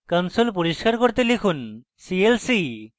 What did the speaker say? console পরিস্কার করতে লিখুন clc